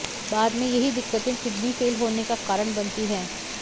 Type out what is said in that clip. बाद में यही दिक्कतें किडनी फेल होने का कारण बनती है